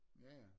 Jaja